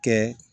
Kɛ